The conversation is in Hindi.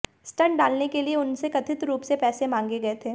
स्टंट डालने के लिए उनसे कथित रूप से पैसे मांगे गए थे